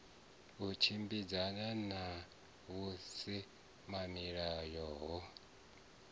u tshimbidzana na vhusimamilayo ho